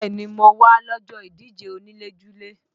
Bẹ́ẹ̀ni mo wá lọ́jọ́ ìdíje onílé-julé